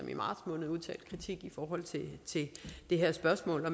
i marts måned udtalt kritik i det her spørgsmål og